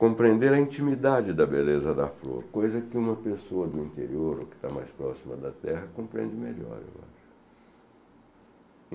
compreender a intimidade da beleza da flor, coisa que uma pessoa do interior ou que está mais próxima da terra compreende melhor, eu acho.